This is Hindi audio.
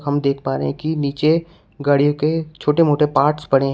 हम देख पा रहे हैं कि नीचे गाड़ियों के छोटे मोटे पार्ट्स पड़े हैं।